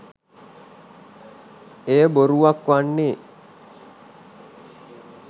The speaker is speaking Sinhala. එය බොරුවක් වන්නේ